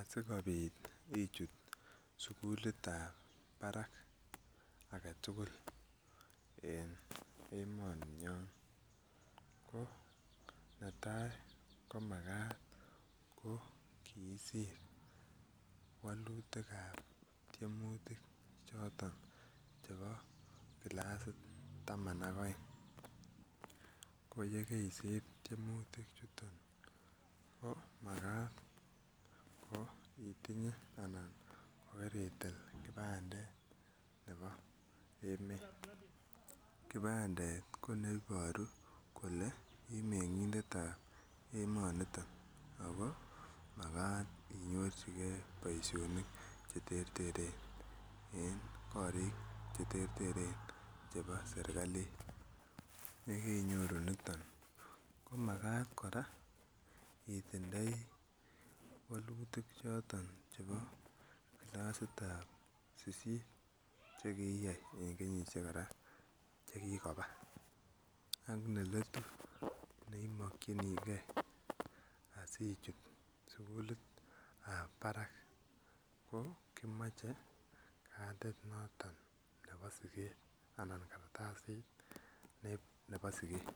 Asikobit ichut sugulitab barak age tugul en emoni nyon ko netai komagat ko kiisir walutikab tyemuutik choton chebo kilasit ab taman ak oeng koye keisir tyemutikchuton komagat itinye anan ko kiritil kipandet nebo emet. Kipandet ko neiboru kole imeng'indet ab emonito ago magat inyorjige boisionik che terteren en korik che terteren chebo serkalit. Y ekeinyoru niton komagat koora itindoi walutik choton chebo kilasit ab sisit che kiiyai en kenyisiek kora che kigobaa ak neletu neimokinige asichut cugulit ab barak. Ko kimoche kaditt noton nebo siget anan kartasit nebo siget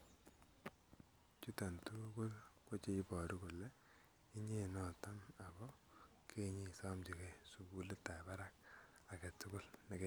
chuton tugul ko che iboru kole inye noton ago keinyon isomnjige sugulit ab barak ag e tugul.